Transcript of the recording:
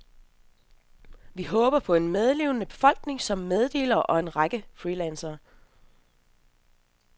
Vi håber på en medlevende befolkning som meddelere og en række freelancere.